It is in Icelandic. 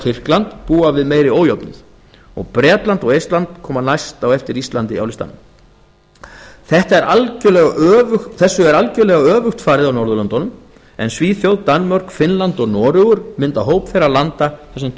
tyrkland búa við meiri ójöfnuð og bretland og eistland koma næst á eftir íslandi á listanum þessu er algerlega öfugt farið á norðurlöndunum en svíþjóð danmörk finnland og noregur mynda hóp þeirra landa þar sem